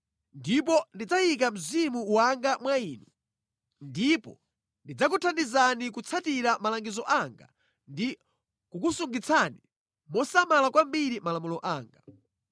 Ndipo ndidzayika Mzimu wanga mwa inu ndipo ndidzakuthandizani kutsatira malangizo anga ndi kukusungitsani mosamala kwambiri malamulo anga.